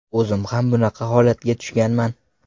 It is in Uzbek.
O‘zim ham bunaqa holatga tushganman.